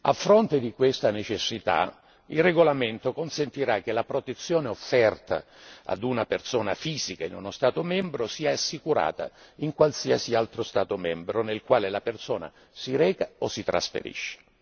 A fronte di questa necessità, il regolamento consentirà che la protezione offerta ad una persona fisica in uno Stato membro sia assicurata in un qualsiasi altro Stato membro nel quale la persona si reca o si trasferisce.